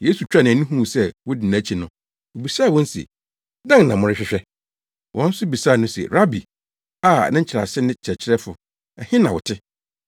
Yesu twaa nʼani huu sɛ wodi nʼakyi no, obisaa wɔn se, “Dɛn na morehwehwɛ?” Wɔn nso bisaa no se, “Rabi” (a ne nkyerɛase ne Kyerɛkyerɛfo), “ɛhe na wote?”